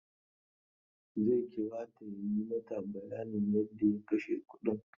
Zai kira ta ya yi mata bayanin yadda ya kashe kudin.